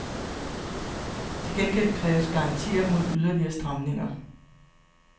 Til gengæld kræves garantier mod yderligere stramninger.